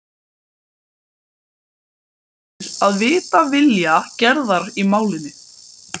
Hann hefur beðið eftir að vita vilja Gerðar í málinu.